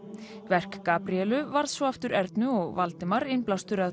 verk Gabríelu varð svo aftur Ernu og Valdimar innblástur að